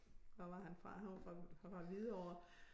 Hvor var han fra han var fra fra Hvidovre